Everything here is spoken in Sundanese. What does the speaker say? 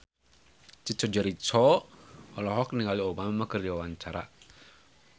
Chico Jericho olohok ningali Obama keur diwawancara